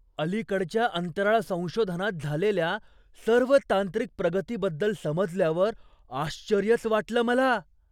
अलीकडच्या अंतराळ संशोधनात झालेल्या सर्व तांत्रिक प्रगतीबद्दल समजल्यावर आश्चर्यच वाटलं मला.